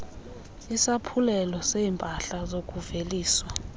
isaphulelo seeempahla zokuveliswa